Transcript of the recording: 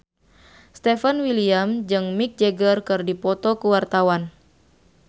Stefan William jeung Mick Jagger keur dipoto ku wartawan